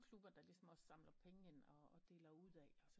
Klubber der ligesom samler penge ind og deler ud af